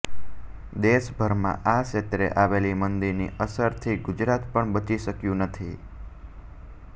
દેશભરમાં આ ક્ષેત્રે આવેલી મંદીની અસરથી ગુજરાત પણ બચી શક્યું નથી